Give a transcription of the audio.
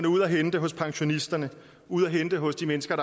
ude at hente hos pensionisterne ude at hente hos de mennesker